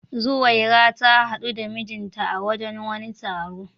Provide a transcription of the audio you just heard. Zuwaira ta hadu da mijinta a wajen wani taro.